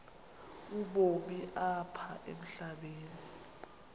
ubomi apha emhlabeni